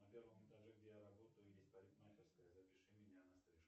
на первом этаже где я работаю есть парикмахерская запиши меня на стрижку